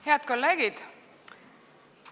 Head kolleegid!